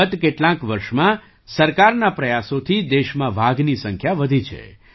ગત કેટલાંક વર્ષમાં સરકારના પ્રયાસોથી દેશમાં વાઘની સંખ્યા વધી છે